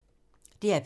DR P3